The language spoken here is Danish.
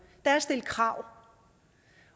er at stille krav